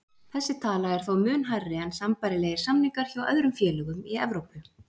Þessi tala er þó mun hærri en sambærilegir samningar hjá öðrum félögum í Evrópu.